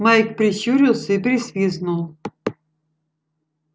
майк прищурился и присвистнул